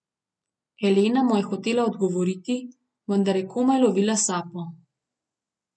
Elena mu je hotela odgovoriti, vendar je komaj lovila sapo.